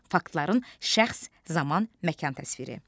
Faktların şəxs, zaman, məkan təsviri.